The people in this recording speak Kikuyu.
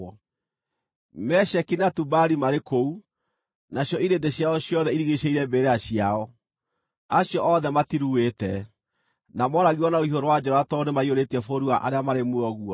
“Mesheki na Tubali marĩ kũu, nacio irĩndĩ ciao ciothe irigiicĩirie mbĩrĩra ciao. Acio othe matiruĩte, na mooragirwo na rũhiũ rwa njora tondũ nĩmaiyũrĩtie bũrũri wa arĩa marĩ muoyo guoya.